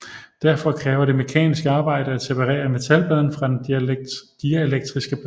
Derfor kræver det mekanisk arbejde at separere metalpladen fra den dielektriske plade